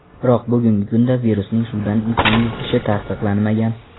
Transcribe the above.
Biroq bugungi kunda virusning suvdan insonga yuqishi tasdiqlanmagan.